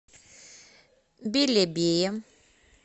белебее